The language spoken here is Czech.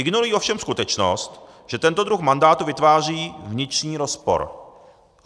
Ignorují ovšem skutečnost, že tento druh mandátu vytváří vnitřní rozpor.